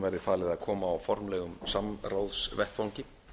verði falið að koma á formlegum samráðsvettvangi